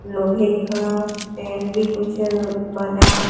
लोहे का टेन भी कुछ बना--